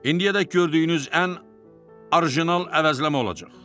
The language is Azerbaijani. İndiyə qədər gördüyünüz ən orijinal əvəzləmə olacaq.